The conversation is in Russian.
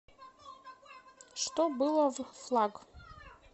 что было в флаг